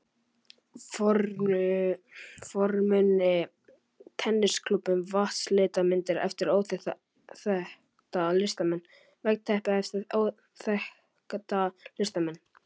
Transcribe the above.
fornmuni, tennisklúbbinn, vatnslitamyndir eftir óþekkta listamenn, veggteppi eftir óþekkta listamenn.